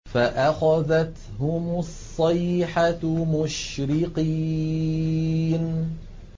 فَأَخَذَتْهُمُ الصَّيْحَةُ مُشْرِقِينَ